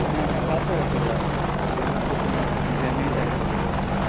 কাছাকাছি just হ্যাঁ নালে তো তোমার jam এই time চলে যাবে